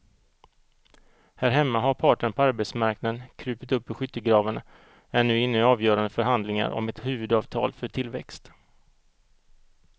Här hemma har parterna på arbetsmarknaden krupit upp ur skyttegravarna och är nu inne i avgörande förhandlingar om ett huvudavtal för tillväxt.